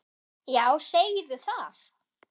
Já, segðu það!